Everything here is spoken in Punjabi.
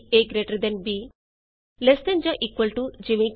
a GT b less than ਜਾਂ ਇਕੁਅਲ ਟੂ ਈਜੀ